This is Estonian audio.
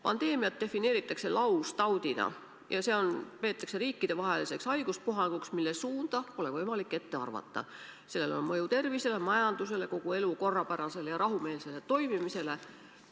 Praegune võimalik oht on tegelikult viiruslik nakkushaigus ja olukord on selle poolest erinev, et juhtiv ja koordineeriv asutus on Terviseamet.